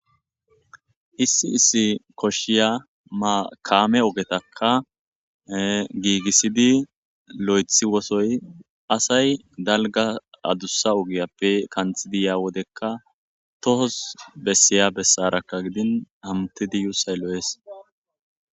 Issi issi koshiya makaame ogetakka giigissidi lo7ethi wosoy asay dalga adussa ogiyappe kanthidiyaa wodekka tohos bessiya bessarakka gidin amutidi yuu saylo7ees